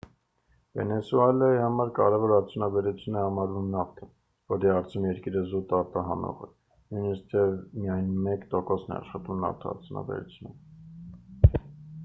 վենեսուելայի համար կարևոր արդյունաբերություն է համարվում նավթը որի հարցում երկիրը զուտ արտահանող է նույնիսկ թեև միայն մեկ տոկոսն է աշխատում նավթարդյունաբերությունում